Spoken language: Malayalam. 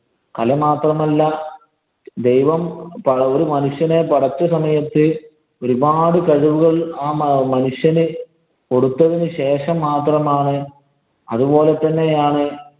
കല മാത്രമല്ല, ദൈവം ഒരു മനുഷ്യനെ പടച്ച സമയത്ത് ഒരു പാട് കഴിവുകള്‍ ആ മനുഷ്യന് കൊടുത്തതിനു ശേഷം മാത്രമാണ് അതുപോലെ തന്നെയാണ്